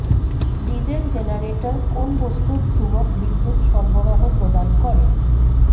diesel generator কোন বস্তুর ধ্রুবক বিদ্যুৎ সরবরাহ প্রদান করে